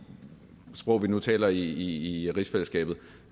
sprog vi nu taler i rigsfællesskabet